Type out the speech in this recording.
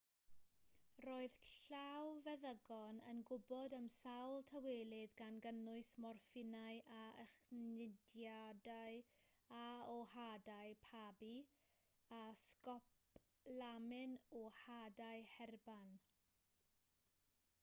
roedd llawfeddygon yn gwybod am sawl tawelydd gan gynnwys morffinau o echdyniadau o hadau pabi a sgopolamin o hadau herban